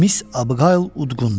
Miss Abqayl udqundu.